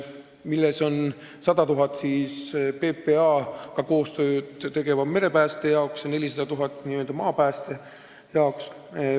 See hõlmab 100 000 eurot PPA-ga koostööd tegeva merepääste jaoks ja 400 000 eurot n-ö maapääste jaoks.